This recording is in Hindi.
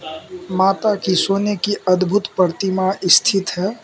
माता की सोने की अद्भुत प्रतिमा स्थित है।